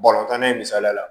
tan na in misaliya la